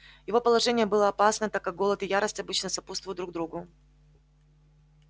его положение было опасно так как голод и ярость обычно сопутствуют друг другу